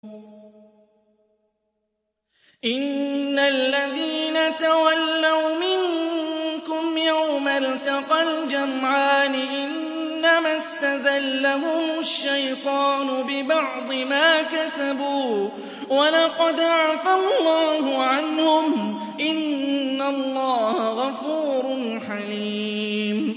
إِنَّ الَّذِينَ تَوَلَّوْا مِنكُمْ يَوْمَ الْتَقَى الْجَمْعَانِ إِنَّمَا اسْتَزَلَّهُمُ الشَّيْطَانُ بِبَعْضِ مَا كَسَبُوا ۖ وَلَقَدْ عَفَا اللَّهُ عَنْهُمْ ۗ إِنَّ اللَّهَ غَفُورٌ حَلِيمٌ